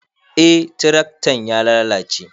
Eh tiraktan ya lalace